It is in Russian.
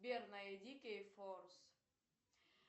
сбер найди кей форс